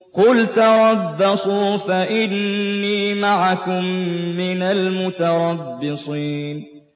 قُلْ تَرَبَّصُوا فَإِنِّي مَعَكُم مِّنَ الْمُتَرَبِّصِينَ